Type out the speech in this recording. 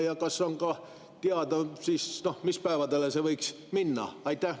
Ja kas on ka teada, mis päevale see võiks minna?